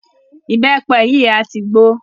Ìbẹ́pẹ yìí a tí gbó.